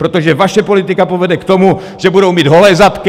Protože vaše politika povede k tomu, že budou mít holé zadky!